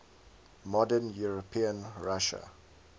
modern european russia